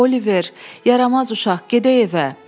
O, Oliver, yaramaz uşaq, gedək evə.